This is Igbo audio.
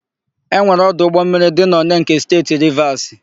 E nwere ọdụ ụgbọmmiri dị n'Onee nke Steeti Rivasi.